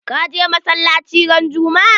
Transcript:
Ka je masalaci ran juma'a?